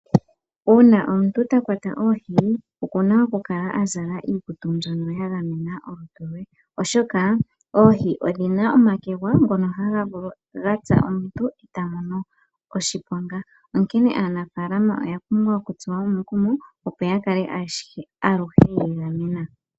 Uuna omuntu takwata oohi okuna okukala azala iikutu mbyoka yagamena olutu lwe oshoka oohi odhina omakwega ngoka haya vulu okutsa omuntu eta mono oshiponga. Onkene aanafalama oya pumbwa okutsuwa omukumo opo yakale aluhe yiigamena.